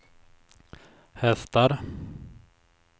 hästar